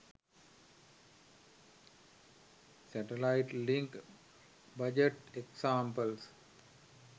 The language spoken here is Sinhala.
satellite link budget examples